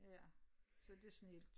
Ja så det snildt